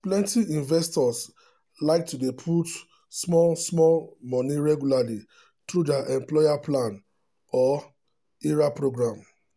plenty investors like to dey put small-small money regularly through their employer plan or ira program.